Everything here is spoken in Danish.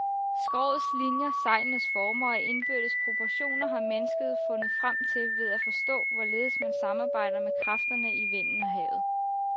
Skrogets linier, sejlenes former og indbyrdes proportioner har mennesket fundet frem til ved at forstå, hvorledes man samarbejder med kræfterne i vinden og havet.